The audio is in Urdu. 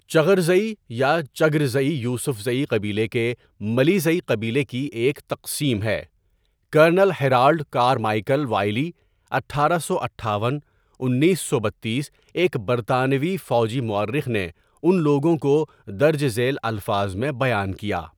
چغرزئی یا چگرزئی یوسفزئی قبیلے کے ملیزئی قبیلے کی ایک تقسیم ہے کرنل ہیرالڈ کارمائیکل وائلی ، اٹھارہ سو اٹھاون ، انیس سو بتیس ایک برطانوی فوجی مورخ نے ان لوگوں کو درج ذیل الفاظ میں بیان کیا.